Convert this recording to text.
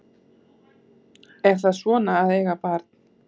Er það svona að eiga barn?